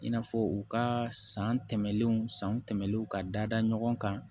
I n'a fɔ u ka san tɛmɛnenw san tɛmɛnlenw ka dada ɲɔgɔn kan